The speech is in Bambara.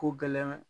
Ko gɛlɛn